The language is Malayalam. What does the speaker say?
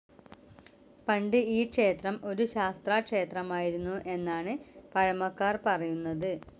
പണ്ട് ഈ ക്ഷേത്രം ഒരു ശാസ്താക്ഷേത്രമായിരുന്നു എന്നാണ് പഴമക്കാർ പറയുന്നത്.